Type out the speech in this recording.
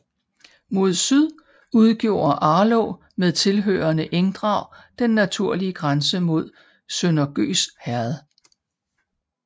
Mod syd udgjorde Arlå med tilhørende engdrag den naturlige grænse mod Sønder Gøs Herred